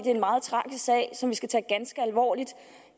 er en meget tragisk sag som vi skal tage ganske alvorligt